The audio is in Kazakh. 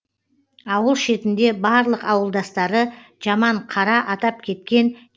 ауыл шетінде барлық ауылдастары жаман қара атап кеткен